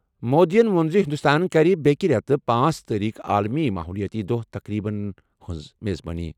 مودیَن ووٚن زِ ہِنٛدُستان کَرِ بیٚکہِ رٮ۪تہٕ پانژھ تٲریٖخ عالمی ماحولیٲتی دۄہ تقریبن ہِنٛز میزبٲنی۔